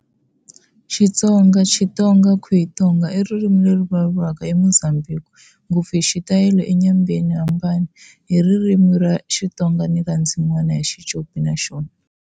Xitsonga, Chitonga, Guitonga, i ririmi leri ri vulavuriwaka eMozambique, ngopfu hi xitalo eNyembani, Inhambane. Hi ririmi ra Xitsonga ri na ndzin'wana ya Xicopi naxona.